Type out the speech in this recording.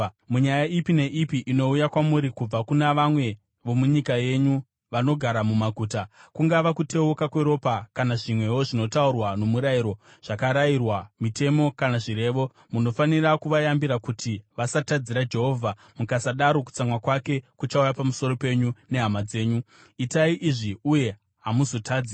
Munyaya ipi neipi inouya kwamuri kubva kuna vamwe vomunyika yenyu vanogara mumaguta, kungava kuteuka kweropa kana zvimwewo zvinotaurwa nomurayiro, zvakarayirwa, mitemo kana zvirevo, munofanira kuvayambira kuti vasatadzira Jehovha; mukasadaro kutsamwa kwake kuchauya pamusoro penyu nehama dzenyu. Itai izvi uye hamuzotadzi.